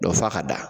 f'a ka da